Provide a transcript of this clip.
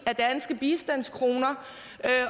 af danske bistandskroner